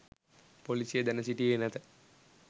පොලිසිය දැන සිටියේ නැත